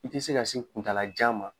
I ti se ka se kuntaalajan ma